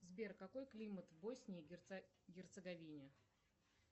сбер какой климат в боснии и герцеговине